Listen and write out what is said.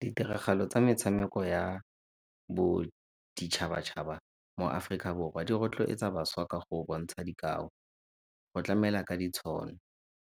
Ditiragalo tsa metshameko ya boditšhaba-tšhaba mo Aforika Borwa di rotloetsa bašwa ka go bontsha dikao, go tlamela ka ditshono,